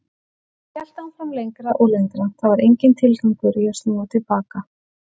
Ég hélt áfram lengra og lengra, það var enginn tilgangur í að snúa til baka.